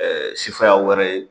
sifaya wɛrɛ ye